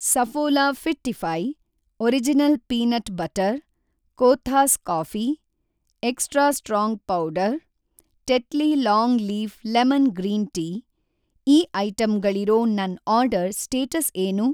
Saffola fittify, original peanut butter, Kothas coffee, extra strong powder, Tetley long leaf lemon green tea ಈ ಐಟಂಗಳಿರೋ ನನ್‌ order status ಏನು?